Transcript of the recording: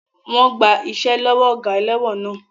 Wọ́n gba iṣẹ́ lọ́wọ́ ọ̀gá ẹlẹ́wọ̀n náà.